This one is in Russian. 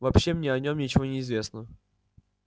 больше мне о нем ничего не известно